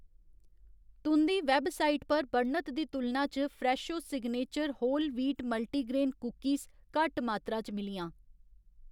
तुं'दी वैबसाइट पर बर्णत दी तुलना च Fresho signature whole wheat multigrain cookies घट्ट मात्तरा च मिलियां